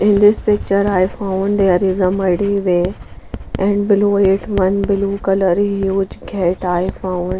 in this picture i found there is a muddy way and below it one blue colour huge gate i found.